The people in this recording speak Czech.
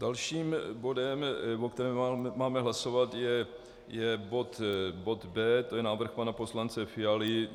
Dalším bodem, o kterém máme hlasovat, je bod B, to je návrh pana poslance Fialy.